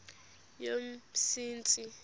yomsintsi